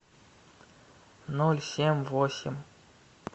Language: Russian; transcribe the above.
ноль семь восемь